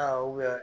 Aa